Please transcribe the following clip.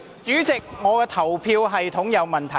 主席，表決系統有問題。